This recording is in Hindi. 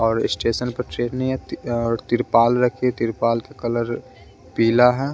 और स्टेशन पर ट्रेने अती और तिरपाल रखी तिरपाल का कलर पीला है।